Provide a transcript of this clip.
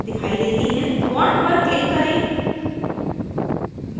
bond पर click करें